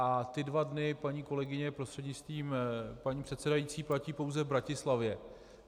A ty dva dny, paní kolegyně prostřednictvím paní předsedající, platí pouze v Bratislavě.